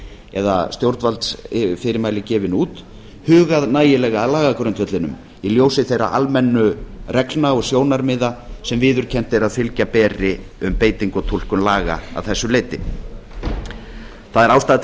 eða stjórnvaldsfyrirmæli gefin út hugað nægilega að lagagrundvellinum í ljósi þeirra almennu reglna og sjónarmiða sem viðurkennt er að fylgja beri um beitingu og túlkun laga að þessu leyti það er ástæða til þess að taka